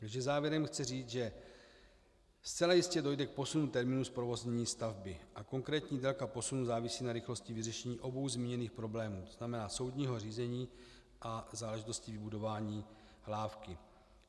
Takže závěrem chci říct, že zcela jistě dojde k posunu termínu zprovoznění stavby a konkrétní délka posunu závisí na rychlosti vyřešení obou zmíněných problémů, to znamená soudního řízení a záležitosti vybudování lávky.